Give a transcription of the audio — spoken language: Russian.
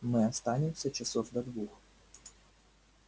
мы останемся часов до двух